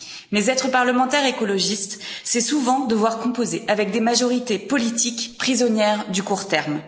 Mais être parlementaire écologiste, c'est souvent devoir composer avec des majorités politiques prisonnières du court terme.